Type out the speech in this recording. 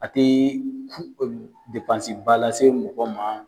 A te ba lase mɔgɔ ma.